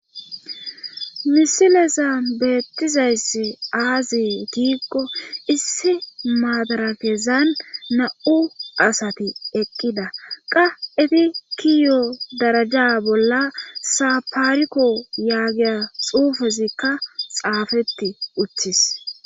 misileza beettizayss aazi diigko issi maadarakezan na7u asati eqqida qa efi kiyo daraja bolla sapariko yaagiya xuufezikka xaafetti uththis